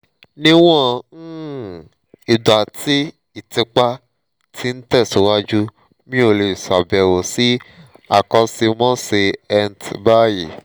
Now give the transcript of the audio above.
níwọ̀n um ìgbà tí ìtìpa ti ń tẹ̀síwájú mi ò lè ṣàbẹ̀wò sí akọ́ṣẹ́mọṣẹ́ ent báyìí